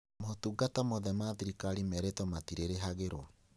Motungata mothe ma thirikari merĩtwo matirĩrĩhagĩrwo